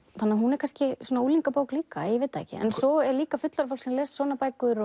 þannig að hún er kannski unglingabók líka ég veit það ekki en svo er líka fullorðið fólk sem les svona bækur